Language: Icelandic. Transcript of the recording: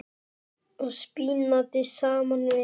og spínati saman við.